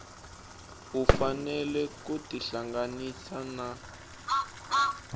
u fanele ku tihlanganisa na